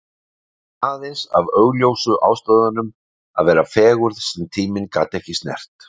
Ekki aðeins af augljósu ástæðunum: Að vera fegurð sem tíminn gat ekki snert.